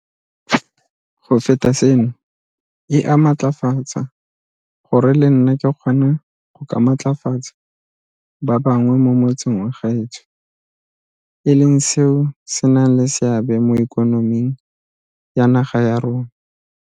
Go feta seno, e a mmatlafatsa gore le nna ke kgone go ka matlafatsa ba bangwe mo motseng wa gaetsho e leng seo se nang le seabe mo ikonoming ya naga ya rona.